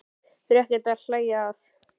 Þetta er ekkert til að hlæja að!